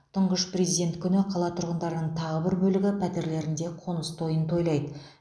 тұңғыш президент күні қала тұрғындарының тағы бір бөлігі пәтерлерінде қоныс тоиын тоилаиды